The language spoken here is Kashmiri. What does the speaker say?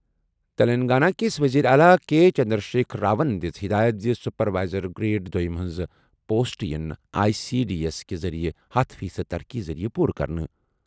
تیٚلنٛگانہ کِس ؤزیٖرِ اعلیٰ کے چندرشیکھر راون دِژ ہِدایت زِ سُپر وایزر گریڈ دویم ہٕنٛزٕ پوسٹہٕ یِن آٮٔی سی ڈی ایس کہِ ذٔریعہٕ ہتھَ فیٖصد ترقی ذٔریعہٕ پوٗرٕ کرنہٕ۔